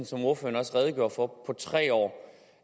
som ordføreren også redegjorde for på tre år